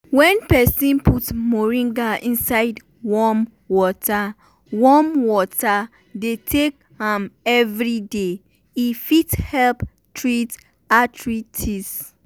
wen peson put moringa inside warm water warm water dey take am everyday e fit help treat arthritis.